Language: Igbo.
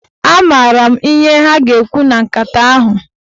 A maara m ihe ha ga-ekwu na nkata ahụ.